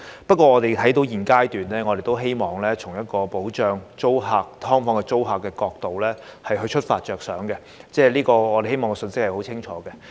不過，我們現階段都希望從保障"劏房"租客的角度出發，並希望清楚地帶出這信息。